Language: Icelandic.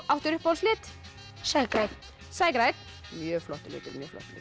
áttu uppáhaldslit Sægrænn mjög flottur litur